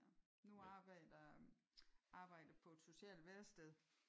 Nu arbejder jeg arbejder jeg på et socialt værested